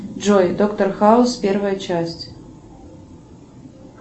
джой доктор хаус первая часть